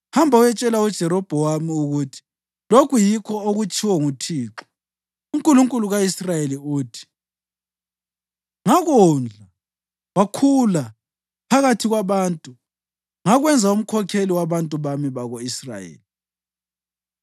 Hamba, uyetshela uJerobhowamu ukuthi lokhu yikho okutshiwo nguThixo, uNkulunkulu ka-Israyeli, uthi: ‘Ngakondla wakhula phakathi kwabantu ngakwenza umkhokheli wabantu bami bako-Israyeli.